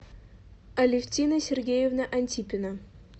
алевтина сергеевна антипина